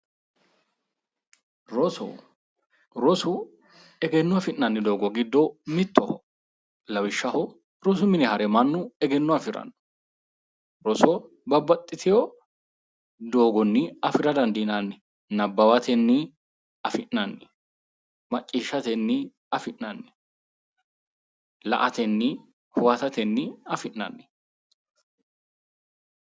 roso rosu egenno afinnanni doogo giddo mittoho lawishshaho rosu mine hare manni egenno afiranno roso babbaxitino doogonni afira dandiinanni nabbawatenni afi'nanni macciishshatenni afi'nanni la''atenni huwatatenni afi'nanni.